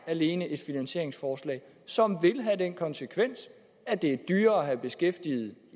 alene er et finansieringsforslag som vil have den konsekvens at det er dyrere at have beskæftigede